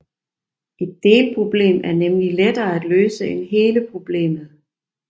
Et delproblem er nemlig lettere at løse end hele problemet